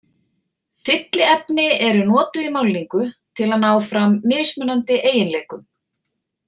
Fylliefni eru notuð í málningu til að ná fram mismunandi eiginleikum.